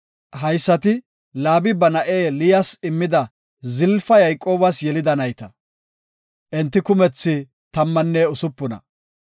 Haysati Laabi ba na7e Liyas immida Zalafa Yayqoobas yelida nayta. Enti kumethi tammanne usupuna.